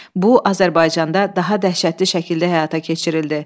Bu Azərbaycanda daha dəhşətli şəkildə həyata keçirildi.